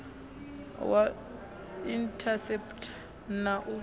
wa u inthaseputha na u